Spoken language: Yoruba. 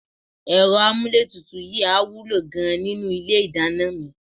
Ẹ̀rọ amúlétutù yìí á wúlò gan-an nínú ilé ìdáná mi